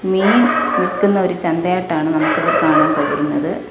മീൻ വിൽക്കുന്ന ഒരു ചന്തയായിട്ടാണ് നമുക്ക് ഇവിടെ കാണാൻ കഴിയുന്നത്.